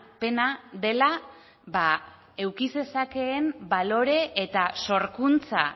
pena dela eduki zezakeen balore eta sorkuntza